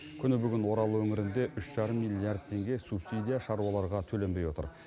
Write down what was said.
күні бүгін орал өңірінде үш жарым миллиард теңге субсидия шаруаларға төленбей отыр